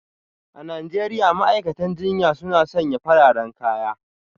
A Najeriya ma'aikatan jinya suna sanya fararen kaya